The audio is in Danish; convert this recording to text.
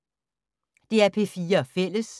DR P4 Fælles